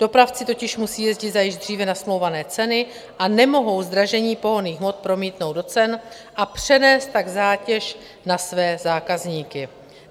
Dopravci totiž musí jezdit za již dříve nasmlouvané ceny a nemohou zdražení pohonných hmot promítnout do cen a přenést tak zátěž na své zákazníky.